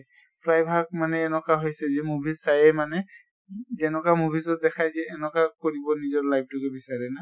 প্ৰায় ভাগ মানে এনকা হৈছে movies চাইয়ে মানে যেনকে movies ত দেখায় যে এনকা কৰিব নিজৰ life তোকে বচাৰে না?